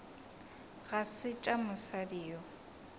ga se tša mosadi yo